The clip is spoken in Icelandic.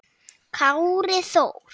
Kári Þór.